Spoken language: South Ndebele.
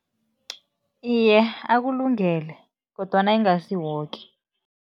Iye, akulungele kodwana ingasi woke.